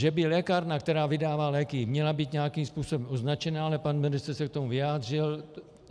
Že by lékárna, která vydává léky, měla být nějakým způsobem označená, ale pan ministr se k tomu vyjádřil.